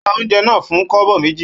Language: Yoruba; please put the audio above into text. Ó ra oúnjẹ náà fún kobo méjì.